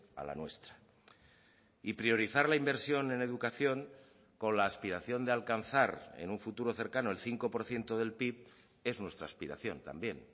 a la nuestra y priorizar la inversión en educación con la aspiración de alcanzar en un futuro cercano el cinco por ciento del pib es nuestra aspiración también